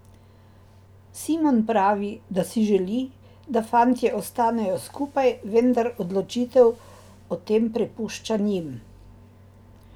Simon pravi, da si želi, da fantje ostanejo skupaj, vendar odločitev o tem prepušča njim.